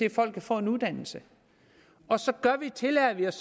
at folk kan få en uddannelse og så tillader vi os